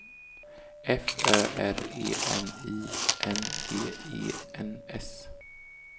F Ö R E N I N G E N S